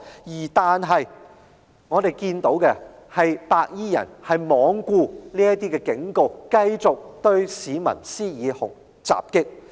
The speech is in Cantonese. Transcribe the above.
不過，我們看到的，是白衣人罔顧警告，繼續對市民施以襲擊。